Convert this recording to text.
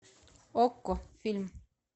окко фильм